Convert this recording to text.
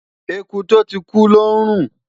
ẹkú to tí kú lò nrun